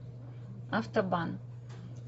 автобан